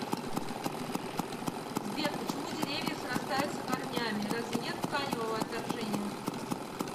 сбер почему деревья срастаются корнями разве нет тканевого отторжения